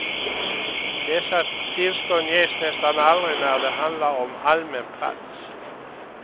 Dessa tillstånd ges nästan aldrig när det handlar om allmän plats.